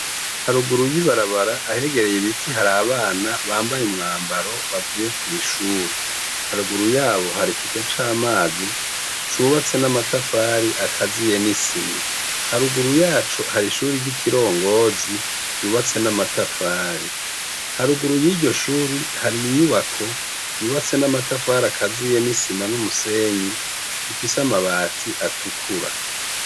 Haruguru y'ibarabara ahegereye ibiti hari abana bambaye umwambaro bavuye kw'ishuri, haruguru yabo hari ikigega c'amazi cubatse n'amatafari akaziye n'isima haruguru yacu hari ishuri ry'ikirongozi ryubatse n'amatafari, haruguru y'iryo shuri hari inyubako yubatse n'amatafari akaziye n'isima n'umusenyi ifise amabati atukura.